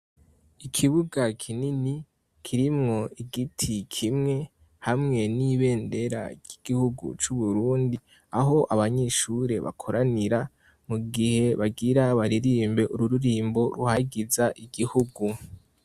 Ikibuga kinini kirimwo igiti kimwe, hamwe n'ibendera ry'igihugu c'Uburundi aho abanyeshure bakoranira mu gihe bagira baririmbe ururirimbo ruhagiza igihugu.